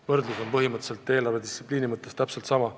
Võrdlus on eelarvedistsipliini koha pealt täpselt sama.